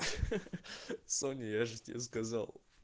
ха-ха-ха соня я же тебе сказал